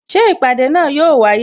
Ṣé ìpàdé náà yo wáyé?